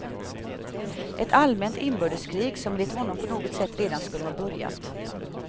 Ett allmänt inbördeskrig som enligt honom på något sätt redan skulle ha börjat.